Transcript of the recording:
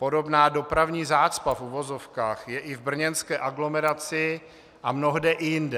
Podobná dopravní zácpa v uvozovkách je i v brněnské aglomeraci a mnohde i jinde.